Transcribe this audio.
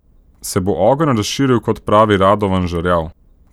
Se bo ogenj razširil, kot pravi Radovan Žerjav?